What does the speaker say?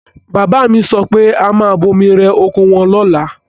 Bàbá mi sọ pé a máa bomi rẹ oko wọn lọ́la.